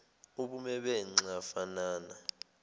ubume benxa fanana